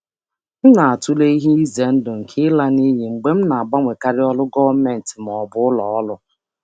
Ana m atụle ihe egwu nke ịtụfu ọkwa mgbe m na-agbanwe ọrụ gọọmentị ma ọ bụ ụlọ ọrụ ugboro ugboro.